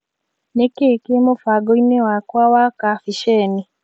Nĩkĩĩ kĩ mũbango-inĩ wakwa wa kabisheni?